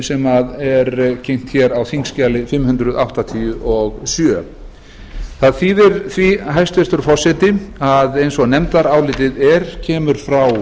sem er kynnt á þingskjali fimm hundruð áttatíu og sjö það þýðir því hæstvirtur forseti að eins og nefndarálitið kemur frá